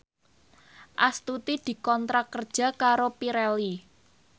Astuti dikontrak kerja karo Pirelli